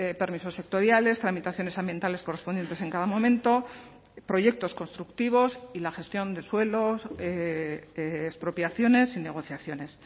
permisos sectoriales tramitaciones ambientales correspondientes en cada momento proyectos constructivos y la gestión de suelos expropiaciones y negociaciones